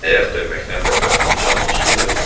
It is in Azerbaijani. Ayaq döyməkdən bədbəxtin canının suyu da quruyub.